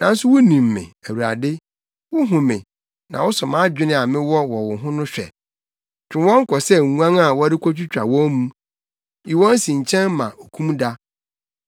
Nanso wunim me, Awurade; wuhu me, na wosɔ mʼadwene a mewɔ wɔ wo ho no hwɛ. Twe wɔn kɔ sɛ nguan a wɔrekotwitwa wɔn mu! Yi wɔn si nkyɛn ma okumda!